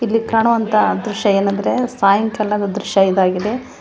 ಇಲ್ಲಿ ಕಾಣುವಂತ ದೃಶ್ಯ ಏನಂದ್ರೆ ಸಾಯಂಕಾಲದ ದೃಶ್ಯ ಇದಾಗಿದೆ.